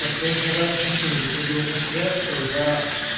последний раз букин выходил на связь когда